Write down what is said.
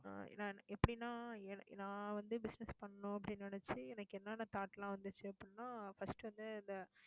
ஆஹ் நான் எப்படின்னா நான் வந்து, business பண்ணணும் அப்படின்னு நினைச்சு எனக்கு என்னென்ன thought எல்லாம் வந்துச்சு அப்படின்னா first வந்து, இந்த